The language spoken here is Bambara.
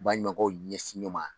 I baɲumankɛw ɲɛsin ɲɔɔn ma